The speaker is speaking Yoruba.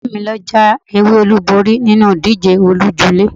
Ilé mi lọ já ewé olúborí nínú ìdíje oníléjulé.